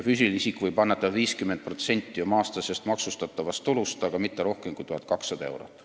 Füüsiline isik võib annetada 50% oma aastasest maksustatavast tulust, aga mitte rohkem kui 1200 eurot.